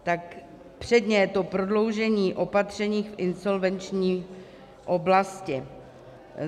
Tak předně je to prodloužení opatření v insolvenční oblasti.